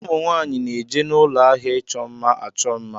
Ụmụnwaanyi na-eje n'ụlọ áhiá ịchọ mma achọ mma.